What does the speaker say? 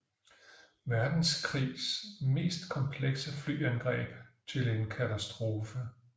Verdenskrigs mest komplekse flyangreb til en katastrofe